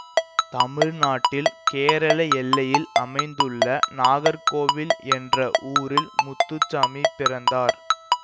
தமிழ்நாட்டில் கேரள எல்லையில் அமைந்துள்ள நாகர்கோவில் என்ற ஊரில் முத்துசாமி பிறந்தார்